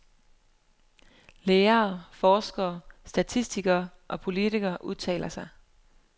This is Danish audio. Læger, forskere, statistikere og politikere udtaler sig.